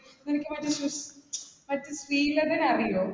അറിയോ?